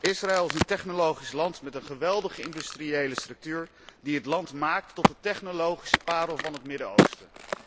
Israël is een technologisch land met een geweldige industriële structuur die het land maakt tot de technologische parel van het Midden Oosten.